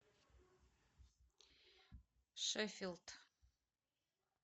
шеффилд